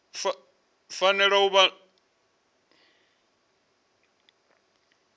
fanela u vha tsho diimisela